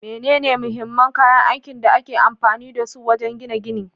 Menene mahimman kayan aikin da ake amfani da su wajen gina gini?